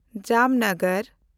ᱡᱟᱢᱱᱚᱜᱚᱨ